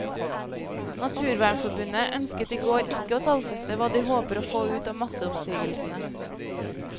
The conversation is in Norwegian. Naturvernforbundet ønsket i går ikke å tallfeste hva de håper å få ut av masseoppsigelsene.